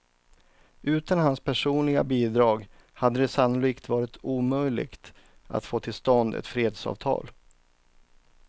Utan hans personliga bidrag hade det sannolikt varit omöjligt att få till stånd ett fredsavtal.